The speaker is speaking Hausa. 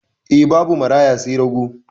E, babu maraya sai rago.